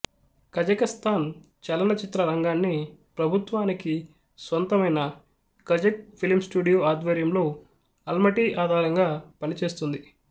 కజకస్తాన్ చలనచిత్ర రంగాన్ని ప్రభుత్వానికి స్వంతమైన కజక్ ఫిల్ం స్టూడియో ఆధ్వర్యంలో ఆల్మటీ ఆధారంగా పనిచేస్తుంది